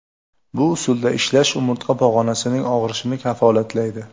Bu usulda ishlash umurtqa pog‘onasinining og‘rishini kafolatlaydi.